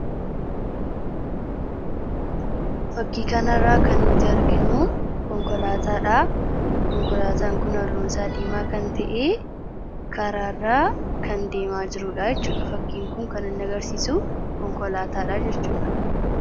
fakkiikaanarraa kan nuti arginuu konkolaataadhaa konkolaataan kunalluunsaa diimaa kan ta'ee karaarraa kan deemaa jiruudhaachuudha fakkiinkun kanan agarsiisu konkolaataadha jirchuudha